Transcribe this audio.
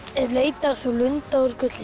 ef leitar þú lunda úr gulli